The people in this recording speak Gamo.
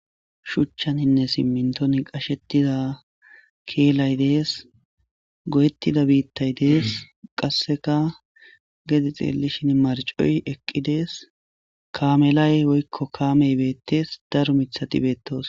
Shuchcjaninne simminton qashshetida keelay dees, goyetida biittay dees, qasseka gede xeellishin marccoy eqqi dees, kaamelay woykko kaamey beettes, daro miththati beettosona.